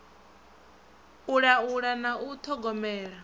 u laula na u ṱhogomela